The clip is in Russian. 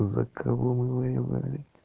за кого мы воевали